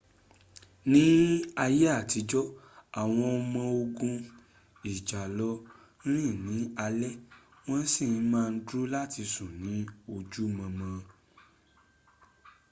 ní àyè àtijọ́ àwọn ọmọ ogun ìjàlọ rìn ní alé wọ́n sí ma dúró láti sùn ní ojú mọmọ